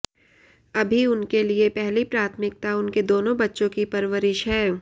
अभी उनके लिए पहली प्राथमिकता उनके दोनों बच्चों की परवरिश है